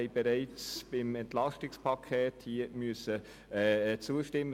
Bereits beim EP mussten wir dieser Massnahme zustimmen.